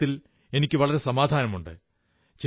എന്നതിൽ എനിക്കു വളരെ സമാധാനമുണ്ട്